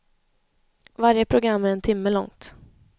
Varje program är en timme långt.